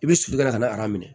I bɛ sulu kɛla ka na